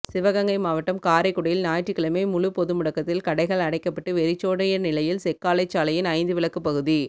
சிவகங்கை மாவட்டம் காரைக்குடியில் ஞாயிற்றுக்கிழமை முழுப்பொதுமுடக்கத்தில் கடைகள் அடைக்கப்பட்டு வெறிச் சோடிய நிலையில் செக்காலைச்சாலையின் ஐந்துவிளக்குப்பகுதி